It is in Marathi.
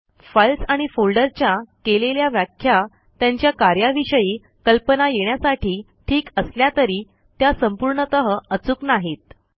फाईल्स आणि फोल्डरच्या केलेल्या व्याख्या त्यांच्या कार्याविषयी कल्पना येण्यासाठी ठीक असल्या तरी त्या संपूर्णतः अचूक नाहीत